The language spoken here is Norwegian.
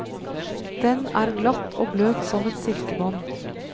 Den er glatt og bløt som et silkebånd.